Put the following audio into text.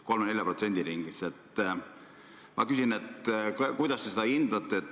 Kuidas te seda hindate?